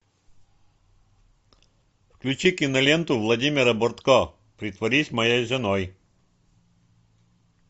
включи киноленту владимира бортко притворись моей женой